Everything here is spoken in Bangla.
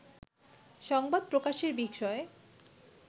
সংবাদ প্রকাশের বিষয়ে